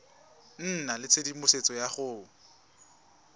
nna le tshedimosetso ya go